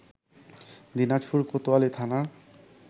দিনাজপুর কোতোয়ালি থানার